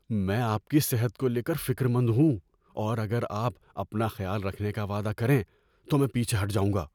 میں آپ کی صحت کو لے کر فکر مند ہوں اور اگر آپ اپنا خیال رکھنے کا وعدہ کریں تو میں پیچھے ہٹ جاؤں گا۔